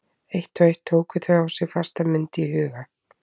Eitt og eitt tóku þau á sig fasta mynd í huga